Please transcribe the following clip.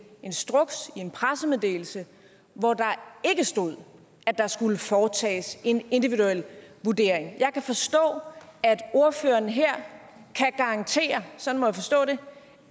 instruks i en pressemeddelelse hvor der ikke stod at der skulle foretages en individuel vurdering jeg kan forstå at ordføreren her kan garantere sådan må jeg forstå det